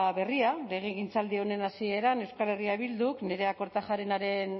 berria legegintzaldi honen hasieran euskal herria bilduk nerea kortajarenaren